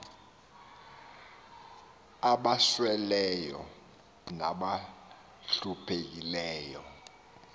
aba sweleyo nabahluphekileyo